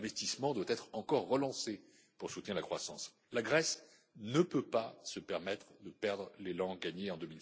L'investissement doit également être encore relancé pour soutenir la croissance. La Grèce ne peut pas se permettre de perdre l'élan gagné